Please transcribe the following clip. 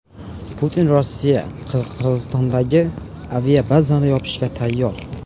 Putin: Rossiya Qirg‘izistondagi aviabazani yopishga tayyor.